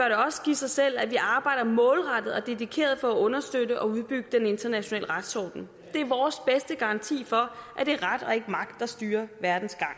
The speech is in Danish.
sig selv at vi arbejder målrettet og dedikeret på at understøtte og udbygge den internationale retsorden det er vores bedste garanti for at det er ret og ikke magt der styrer verdens gang